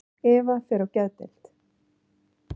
Eva fer á geðdeild.